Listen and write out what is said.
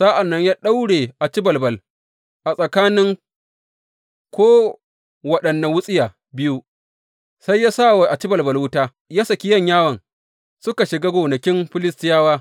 Sa’an nan ya daure acibalbal a tsakanin ko waɗanne wutsiya biyu, sai ya sa wa acibalbal wuta, ya saki yanyawan suka shiga gonakin Filistiyawa.